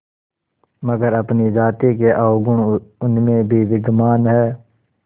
मगर अपनी जाति के अवगुण उनमें भी विद्यमान हैं